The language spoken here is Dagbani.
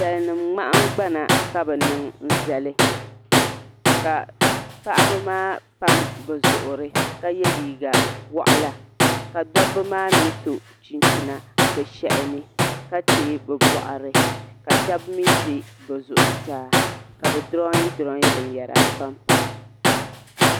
Salinima ŋmahingbana ka bɛ niŋ zali ka paɣiba maa pam bɛ zuɣuri ka ye liiga waɣila ka dobba maa mi so chinchina bɛ shɛhi ni ka teei bɛ bɔɣiri ka shɛba mi ʒe bɛ zuɣusaa ka bɛ durooyi durooyi binyɛra m-pampa.